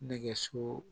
Nɛgɛso